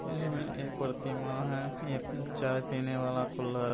इसमे एक प्रतिमा है एक चाय पीने वाला कुल्लर---